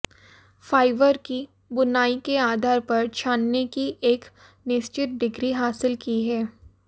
fibre की बुनाई के आधार पर छानने की एक निश्चित डिग्री हासिल की है